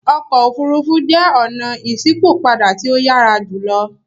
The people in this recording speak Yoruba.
Ọkọ ofurufu jẹ ọna iṣipopada ti o yara julo.